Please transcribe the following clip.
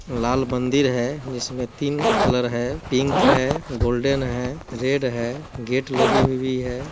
लाल मंदिर है जिसमें तीन कलर है पिंक है गोल्डन है रेड है गेट लगी हुई है।